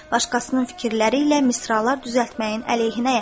Başqasının fikirləri ilə misralar düzəltməyin əleyhinəyəm."